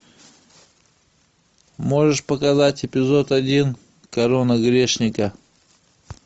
можешь показать эпизод один корона грешника